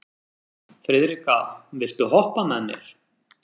Friðrikka, viltu hoppa með mér?